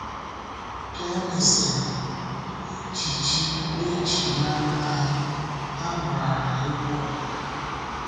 Ká e mesịrị, n’ejíjí e ji mara ha, ha gbàrà egwu ọdịnala.